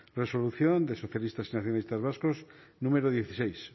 resolución de socialistas y nacionalistas vascos número dieciséis